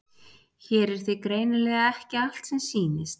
Hér er því greinilega ekki allt sem sýnist.